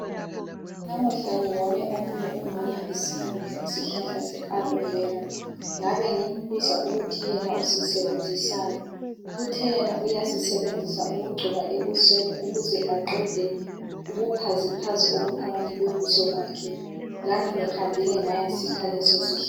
Namuhla ngibone omunye umama esiyakukha isihlahla se alovera ngabe ngimbuza ukuthi yena usisebenzisani, Uthe yena uyasebenzisa ukugcoba ebusweni ukuze aqede ubuphaziphazi obuphakathi kobuso bakhe. Lami ngihambile ngayasikha lesisihlahla.